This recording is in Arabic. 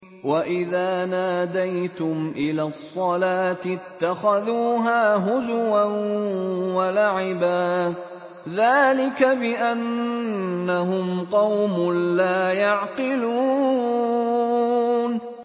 وَإِذَا نَادَيْتُمْ إِلَى الصَّلَاةِ اتَّخَذُوهَا هُزُوًا وَلَعِبًا ۚ ذَٰلِكَ بِأَنَّهُمْ قَوْمٌ لَّا يَعْقِلُونَ